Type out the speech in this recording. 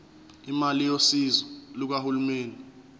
imali yosizo lukahulumeni